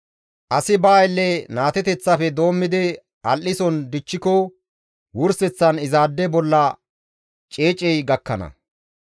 Asi ba aylle naateteththafe doommidi al7ison dichchiko wurseththan izaade bolla ceecey gakkana.